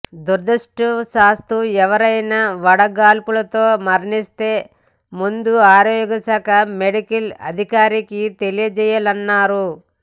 దురదృష్టవశాత్తు ఎవరైనా వడగాడ్పులతో మరణిస్తే ముందు ఆరోగ్యశాఖ మెడికల్ అధికారికి తెలియజేయాలన్నారు